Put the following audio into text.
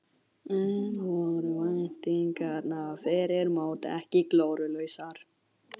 En voru væntingarnar fyrir mót ekki glórulausar?